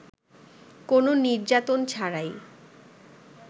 কোন নির্যাতন ছাড়াই